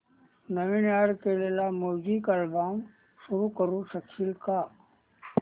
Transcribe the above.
नवीन add केलेला music album सुरू करू शकशील का